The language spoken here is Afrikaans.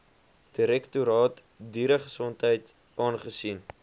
direktoraat dieregesondheid aangesien